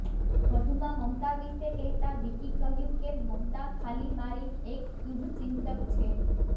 વધુમાં મમતા વિષે કહેતા વિકી કહ્યું કે મમતા ખાલી મારી એક શુભચિંતક છે